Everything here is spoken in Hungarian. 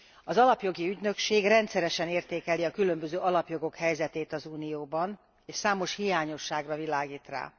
Az Alapjogi Ügynökség rendszeresen értékeli a különböző alapjogok helyzetét az Unióban, és számos hiányosságra világít rá.